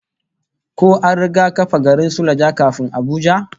Ko an riga kafa garin Suleja kafin Abuja?